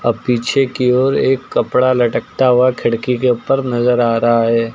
और पीछे के और एक कपड़ा लटकता हुआ खिड़की के ऊपर नजर आ रहा है।